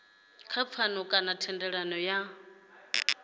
kha pfano kana thendelano ya